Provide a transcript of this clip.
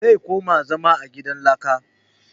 Zai koma zama a gidan laka